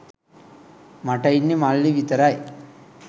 මට ඉන්නෙ මල්ලි විතරයි.